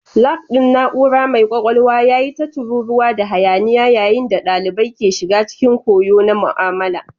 Lab ɗin na'ura mai kwakwalwa ya yi ta tururuwa da hayaniya yayin da ɗalibai ke shiga cikin koyo na mu'amala.